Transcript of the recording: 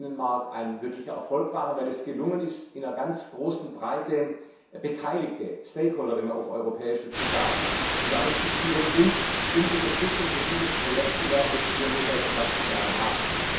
15. Oktober ein wirklicher Erfolg waren, weil es gelungen ist, in ganz großer Breite Beteiligte Stakeholder, wie man auf Europäisch dazu sagt zusammenzuführen und um Unterstützung für dieses Projekt zu werben, das wir nun seit 20 Jahren haben.